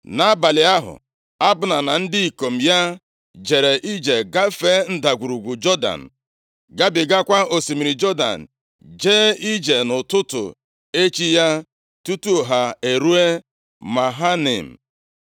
Nʼabalị ahụ, Abna na ndị ikom ya jere ije gafee ndagwurugwu Jọdan, gabigakwa osimiri Jọdan, jee ije nʼụtụtụ echi ya tutu ha eruo Mahanaim.